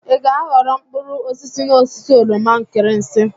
I ga-aghọrọ mkpụrụ osisi n'osisi oroma nkirinsi?